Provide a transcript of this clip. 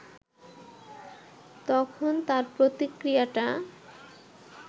তখন তার প্রতিক্রিয়াটা